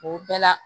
O bɛɛ la